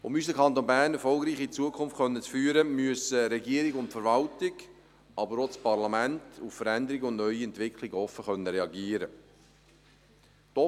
Um unseren Kanton Bern erfolgreich in die Zukunft führen zu können, müssen Regierung und Verwaltung, aber auch das Parlament, auf Veränderungen und neue Entwicklungen offen reagieren können.